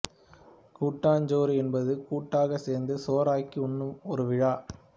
கூட்டாஞ்சோறு என்பது கூட்டாகச் சேர்ந்து சோறாக்கி உண்ணும் ஒரு விழா